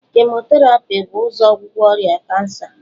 Kemoterapi bu ụzọ ọgwụgwọ ọrịa kansa